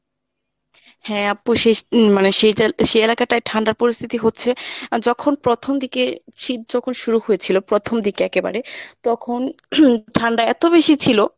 হ্যাঁ আপু সেই মানে সেই এলাকাটায় ঠান্ডার পরিস্থিতি হচ্ছে যখন প্রথম দিকে শীত যখন শুরু হয়েছিল প্রথম দিকে একেবারে তখন ঠান্ডা এত বেশি ছিল